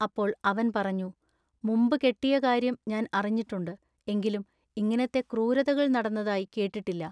അപ്പോൾ അവൻ പറഞ്ഞു. മുമ്പു കെട്ടിയ കാര്യം ഞാൻ അറിഞ്ഞിട്ടുണ്ടു എങ്കിലും ഇങ്ങിനത്ത ക്രൂരതകൾ നടന്നതായി കേട്ടിട്ടില്ല.